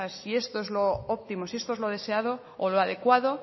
si esto es lo óptimo si esto es lo deseado o lo adecuado